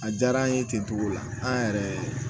A diyara an ye ten togo la an yɛrɛ